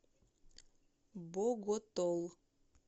боготол